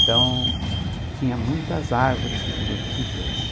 Então, tinha muitas árvores frutíferas.